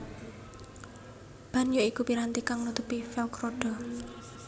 Ban ya iku piranti kang nutupi velg rodha